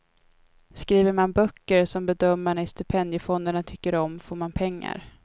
Skriver man böcker som bedömarna i stipendiefonderna tycker om får man pengar.